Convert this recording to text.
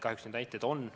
Kahjuks neid näiteid on.